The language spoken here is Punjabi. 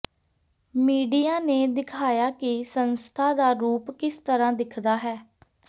ਮੀਡੀਆ ਨੇ ਦਿਖਾਇਆ ਕਿ ਸੰਸਥਾ ਦਾ ਰੂਪ ਕਿਸ ਤਰ੍ਹਾਂ ਦਿਖਦਾ ਹੈ